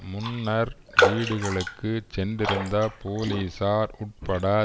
முன்னர் வீடுகளுக்கு சென்றிருந்த போலிசார் உட்பட